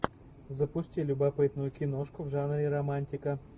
запусти любопытную киношку в жанре романтика